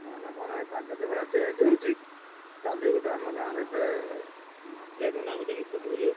କହନା କହନା ଏଇ ପାଗ ଯୋଉ ଭଳିଆ change ହଉଛି, କାଲି ଗୋଟେ ଆମ ଗାଁରେ ଗୋଟେ ନଟିଆ ଜେନା ବୋଲି ଲୋକଟେ ବୁଝିପାରୁଛୁ ନା।